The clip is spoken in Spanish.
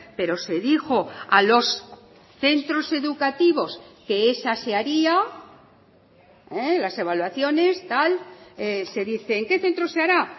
pero se dijo a los centros educativos que esa se haría las evaluaciones tal se dice en qué centros se hará